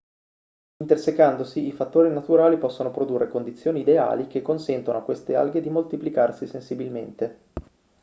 intersecandosi i fattori naturali possono produrre condizioni ideali che consentono a queste alghe di moltiplicarsi sensibilmente